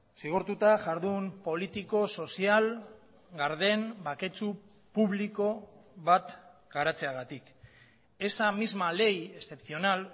zigortuta jardun politiko sozial garden baketsu publiko bat garatzeagatik esa misma ley excepcional